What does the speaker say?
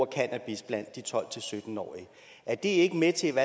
cannabis blandt de tolv til sytten årige er det ikke med til